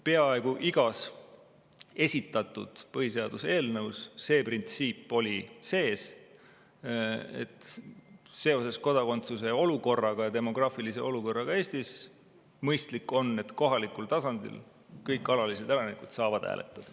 Peaaegu igas esitatud eelnõus oli sees printsiip, et seoses kodakondsuse olukorraga ja demograafilise olukorraga Eestis on mõistlik, et kohalikul tasandil kõik alalised elanikud saavad hääletada.